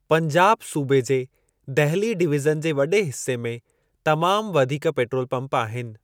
पंजाब सूबे जे दहिली डिवीज़न जे वॾे हिस्से में तमाम वधीक पेट्रोल पंप आहिनि।